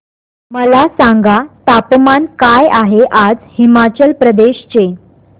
मला सांगा तापमान काय आहे आज हिमाचल प्रदेश चे